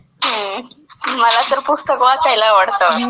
हां. मला तर फक्त वाचायला आवडतं.